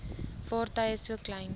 vaartuie so klein